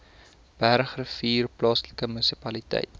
bergrivier plaaslike munisipaliteit